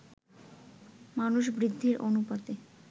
মানুষ বৃদ্ধির অনুপাতে